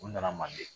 U nana manden